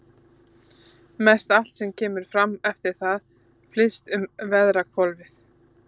Mestallt sem kemur eftir það flyst um veðrahvolfið.